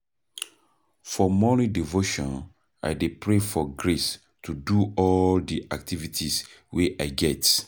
For morning devotion I dey pray for grace to do all di activities wey I get.